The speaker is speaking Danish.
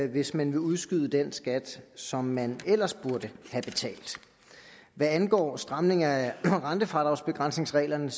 hvis man vil udskyde den skat som man ellers burde have betalt hvad angår stramninger af rentefradragsbegrænsningsreglerne